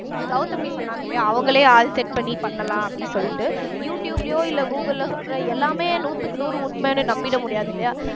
கெளதமி சொன்னாங்க இல்லையா அவங்களே ஆள் set பண்ணி பண்ணலாம் அப்படி சொல்லிட்டு யூ ட்யூப்லயோ இல்ல கூகுள்ல சொல்ற எல்லாமே நூத்துக்கு நூறு உண்மைன்னு நம்பிட முடியாது இல்லையா